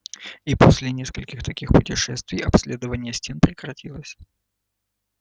и после нескольких таких путешествий обследование стен прекратилось